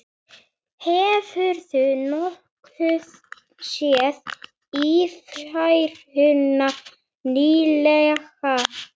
Hefurðu nokkuð séð Ífæruna nýlega?